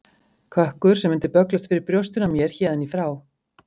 Kökkur sem mundi bögglast fyrir brjóstinu á mér héðan í frá.